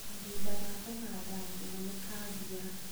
Kahinda ga kũhanda njũgũ nĩkambia.